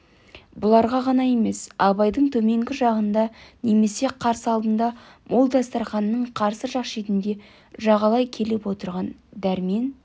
бұлар ғана емес абайдың төменгі жағында немесе қарсы алдында мол дастарқанның қарсы жақ шетіне жағалай келіп отырған дәрмен